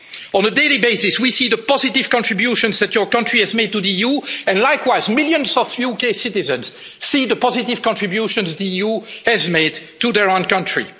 On a daily basis, we see the positive contributions that your country has made to the EU and, likewise, millions of UK citizens see the positive contributions the EU has made to their own country.